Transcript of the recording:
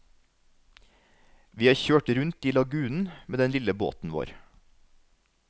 Vi har kjørt rundt i lagunen med den lille båten vår.